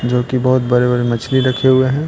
जो कि बहुत बड़े-बड़े मछली रखे हुए हैं।